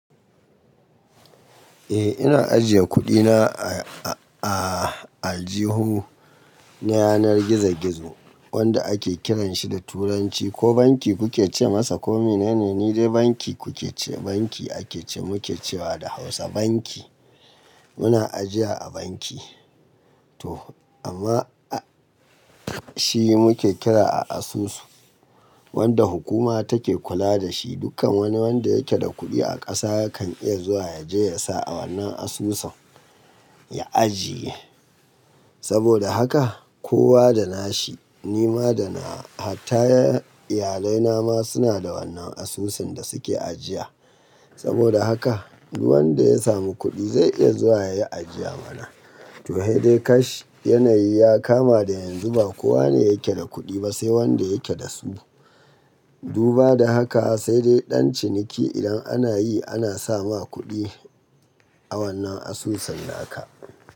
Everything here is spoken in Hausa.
Eh ina ajiye kuɗina a ajihu na yanar gizo-gizo wanda ake kiranshi da turanci ko banki kuke ce masa ko menene? Ni dai banki kuke ce banki ake ce muke cewa da hausa banki muna ajiya a banki to amma a shi muke kira a asusu wanda hukuma take kula dashi dukkan wani wanda yake da kuɗi a ƙasa yakan iya zuwa yaje ya sa a wannan asusun ya ajiye saboda haka kowa da nashi nima da nawa hatta iyalai na ma suna da wannan asusun da suke ajiya saboda haka duk wanda ya samu kuɗi zai iya zuwa yayi ajiya mana to he dai kash yanayi ya kama da yanzu ba kowa ne yake da kuɗi ba sai wanda yake da su duba da haka sai dai ɗan ciniki idan anayi ana sa ma kuɗi a wannan asusun naka.